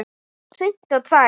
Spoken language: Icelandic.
Hreinn og tær.